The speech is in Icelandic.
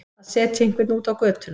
Að setja einhvern út á götuna